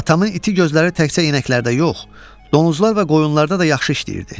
Atamın iti gözləri təkcə inəklərdə yox, donuzlar və qoyunlarda da yaxşı işləyirdi.